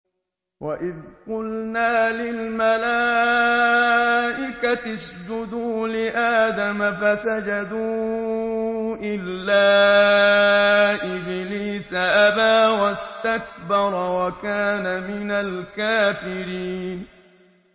وَإِذْ قُلْنَا لِلْمَلَائِكَةِ اسْجُدُوا لِآدَمَ فَسَجَدُوا إِلَّا إِبْلِيسَ أَبَىٰ وَاسْتَكْبَرَ وَكَانَ مِنَ الْكَافِرِينَ